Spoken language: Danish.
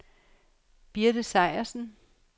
Birte Sejersen